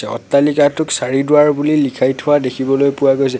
অট্টালিকাটোক চাৰিদুৱাৰ বুলি লিখাই থোৱা দেখিবলৈ পোৱা গৈছে।